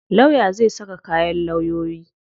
Lawya zai saka kayan lawyoyi.